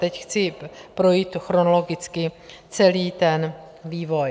Teď chci projít chronologicky celý ten vývoj.